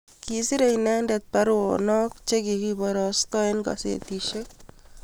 kikiserei inendet baruesiek che kikibarastai eng' kazetisiek